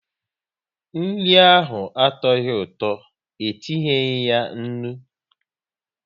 Nri ahụ atuoghi ụtọ, e tinyeyi ya nri